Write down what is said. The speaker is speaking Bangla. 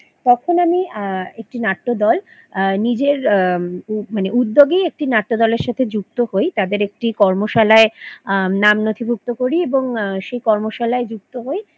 তখন আমি আ একটি নাট্যদল আ নিজের আ উদ্যোগে একটি নাট্যদলের সাথে যুক্ত হই তাদের একটি কর্মশালায় নাম নথিভুক্ত করি এবং আ সে কর্মশালায় যুক্ত হই